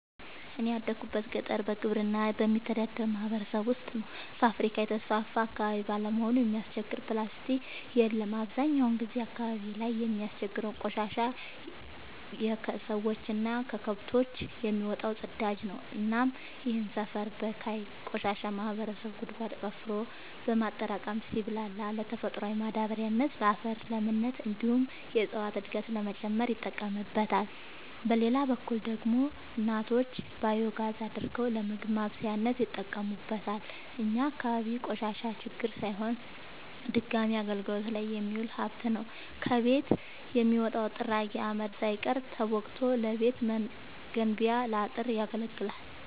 እኔ ያደጉት ገጠር በግብርና በሚተዳደር ማህበረሰብ ውስጥ ነው። ፋብሪካ የተስፋፋበት አካባቢ ባለመሆኑ የሚያስቸግር ፕላስቲ የለም አብዛኛውን ጊዜ አካባቢው ላይ የሚያስቸግረው ቆሻሻ የከሰዎች እና ከከብቶች የሚወጣው ፅዳጅ ነው እናም ይህንን ሰፈር በካይ ቆሻሻ ማህበረሰቡ ጉድጓድ ቆፍሮ በማጠራቀም ሲብላላ ለተፈጥሯዊ ማዳበሪያነት ለአፈር ለምነት እንዲሁም የእፀዋትን እድገት ለመጨመር ይጠቀምበታል። በሌላ በኩል ደግሞ እናቶች ባዮጋዝ አድርገው ለምግብ ማብሰያነት ይጠቀሙበታል። እኛ አካባቢ ቆሻሻ ችግር ሳይሆን ድጋሚ አገልግት ላይ የሚውል ሀብት ነው። ከቤት የሚወጣው ጥራጊ አመድ ሳይቀር ተቦክቶ ለቤት መገንቢያ ለአጥር ያገለግላል።